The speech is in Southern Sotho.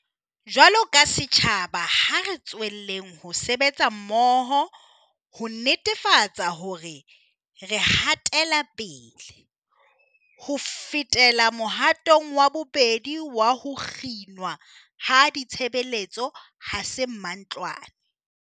Jwaloka setjhaba, ha re tswelleng ho sebetsa mmoho ho netefatsa hore re hatela pele. Ho fetela mohatong wa bobedi wa ho kginwa ha ditshebeletso 'ha se mantlwane.'